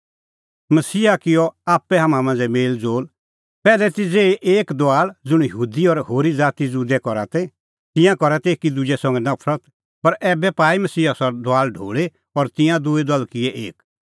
मसीहा किअ आप्पै हाम्हां मांझ़ै मेल़ज़ोल़ पैहलै ती ज़ेही एक दुआल ज़ुंण यहूदी और होरी ज़ाती ज़ुदै करा ती तिंयां करा तै एकी दुजै संघै नफरत पर ऐबै पाई मसीहा सह दुआल ढोल़ी और तिंयां दूई दल किऐ एक